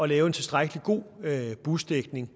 lave en tilstrækkelig god busdækning